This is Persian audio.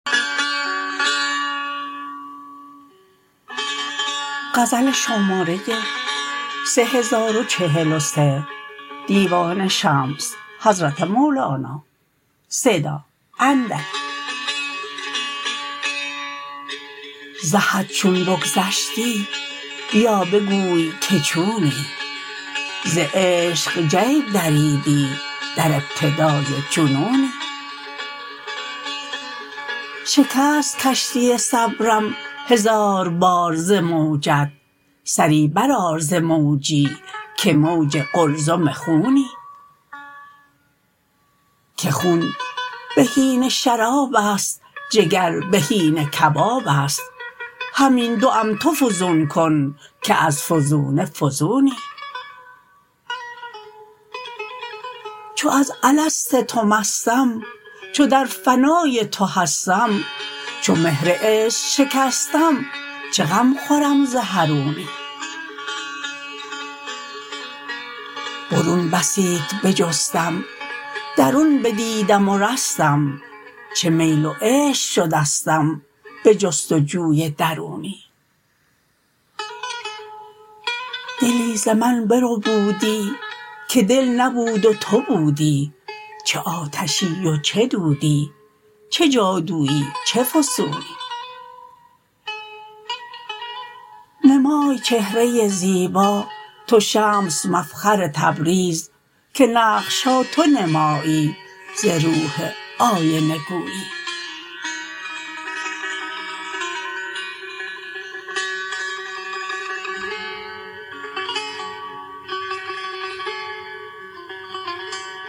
ز حد چون بگذشتی بیا بگوی که چونی ز عشق جیب دریدی در ابتدای جنونی شکست کشتی صبرم هزار بار ز موجت سری برآر ز موجی که موج قلزم خونی که خون بهینه شرابست جگر بهینه کبابست همین دوم تو فزون کن که از فزونه فزونی چو از الست تو مستم چو در فنای تو هستم چو مهر عشق شکستم چه غم خورم ز حرونی برون بسیت بجستم درون بدیدم و رستم چه میل و عشق شدستم به جست و جوی درونی دلی ز من بربودی که دل نبود و تو بودی چه آتشی و چه دودی چه جادوی چه فسونی نمای چهره زیبا تو شمس مفخر تبریز که نقش ها تو نمایی ز روح آینه گونی